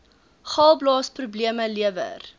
galblaas probleme lewer